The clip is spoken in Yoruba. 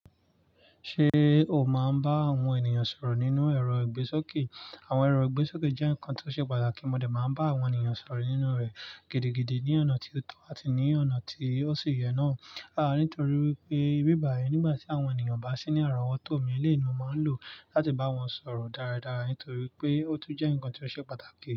Ṣé o máa ń bá àwọn ènìyàn sọ̀rọ̀ nínú ẹ̀rọ ìgbésókè? Àwọn ẹ̀rọ ìgbésókè jẹ́ nǹkan tó ṣe pàtàkì, mo de máa ń bá àwọn ènìyàn sọ̀rọ̀ nínú rẹ̀ gidigidi ní ọ̀nà tí ó tọ́ àti ní ọ̀nà tí ó sì yẹ náà. Àáa nítorí wípé bí bàyii nígbà tí àwọn ènìyàn bá sí ní àrà wọ́tọ́ mi, eléyìí ní mo máa ń lò láti bá wọn sọ̀rọ̀ dáradára, nítorí pé ó tún jẹ́ nǹkan tó ṣe pàtàkì.